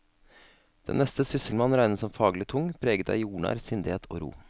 Den neste sysselmann regnes som faglig tung, preget av jordnær sindighet og ro.